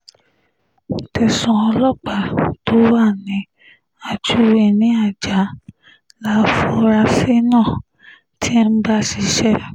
tẹsán ọlọ́pàá tó wà ní ajuwe ní ajah láforasí náà ti ń bá ṣiṣẹ́